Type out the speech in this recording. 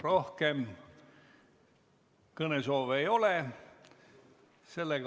Rohkem kõnesoove ei ole.